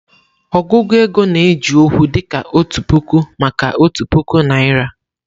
Ọgụgụ ego na-eji okwu dịka "Otu Puku" maka otu puku naịra.